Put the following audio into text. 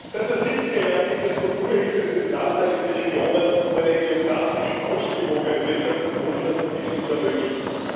Seit den 70er Jahren gibt es Strukturhilfe für benachteiligte Regionen, um eine geographisch ausgewogene Wirtschafts und Wohlstandsentwicklung zu ermöglichen.